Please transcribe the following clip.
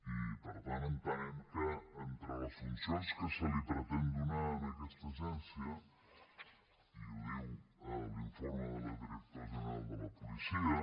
i per tant entenem que entre les funcions que es pretén donar a aquesta agència i ho diu l’informe del director general de la policia